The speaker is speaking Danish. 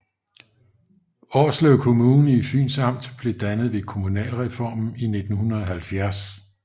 Årslev Kommune i Fyns Amt blev dannet ved kommunalreformen i 1970